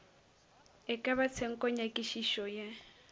e ka ba tshenkonyakišišo ye